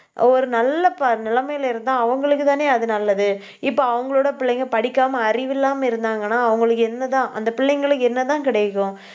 ஒரு நல்ல ப~ நிலைமையில இருந்தா அவங்களுக்குத்தானே அது நல்லது இப்ப அவங்களோட பிள்ளைங்க படிக்காம அறிவில்லாம இருந்தாங்கன்னா அவங்களுக்கு என்னதான் அந்த பிள்ளைங்களுக்கு என்னதான் கிடைக்கும்